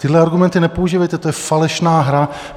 Tyhle argumenty nepoužívejte, to je falešná hra.